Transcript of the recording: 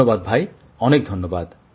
ধন্যবাদ ভাই অনেক ধন্যবাদ